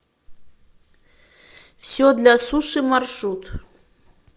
все для суши маршрут